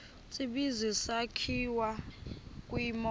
tsibizi sakhiwa kwimo